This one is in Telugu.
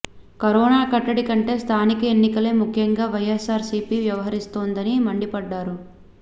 కరోనా కట్టడి కంటే స్థానిక ఎన్నికలే ముఖ్యంగా వైఎస్సార్సీపీ వ్యవహరిస్తోందని మండిపడ్డారు